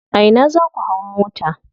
A ina za ku hau mota.